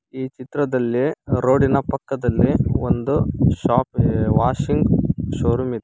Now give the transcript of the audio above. ಈ ಚಿತ್ರದಲ್ಲಿ ರೋಡ್ ಇನ ಪಕ್ಕದಲ್ಲಿ ಒಂದು ಶೋಪ್ ಇದೆ ವಾಷಿಂಗ್ ಷೋರೂಮ್ ಇದೆ.